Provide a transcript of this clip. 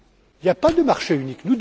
Il n'y a pas de marché unique.